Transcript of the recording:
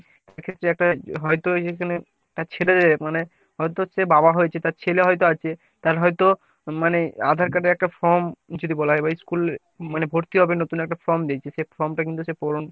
সেক্ষেত্রে একটা হয়তো এখানে তার ছেলে মানে হয়তো সে বাবা হয়েছে। তার ছেলে হয়তো আছে তার হয়তো মানে আধার card এর একটা form যদি বলা হয়। ওই school মানে ভর্তি হবে নতুন একটা form দিয়েছে সে form টা কিন্তু সে পূরণ